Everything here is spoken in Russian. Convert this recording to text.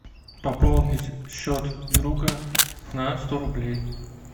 пополнить счет друга на сто рублей